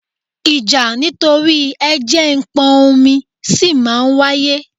Ìjà nítorí ẹ jẹ̀ ń pọn omi sì máa ń wáyé